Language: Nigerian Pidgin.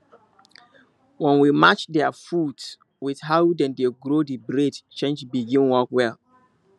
when we match their food with how dem dey grow the breed change begin work well